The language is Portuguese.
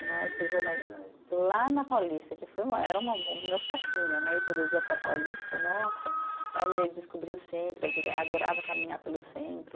Né, eu fiz jorna. cidade. Lá na Paulista, que foi uma era o meu fascínio né, ir todo dia para a Paulista, nossa, e aí descobri o centro, adorava caminhar pelo centro.